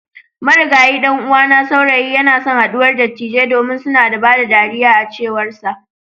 Marigayi dan'uwana saurayi yanason haduwar dattijai domin suna da ban dariya a cewarsa.